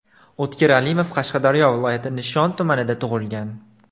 O‘tkir Alimov Qashqadaryo viloyati Nishon tumanida tug‘ilgan.